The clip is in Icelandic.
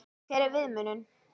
Hver er viðmiðunin?